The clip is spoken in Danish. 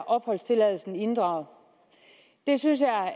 opholdstilladelsen inddraget det synes jeg